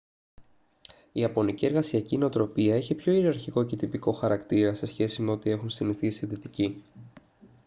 η ιαπωνική εργασιακή νοοτροπία έχει πιο ιεραρχικό και τυπικό χαρακτήρα σε σχέση με ό,τι έχουν συνηθίσει οι δυτικοί